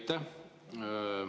Aitäh!